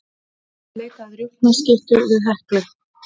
Leita að rjúpnaskyttu við Heklu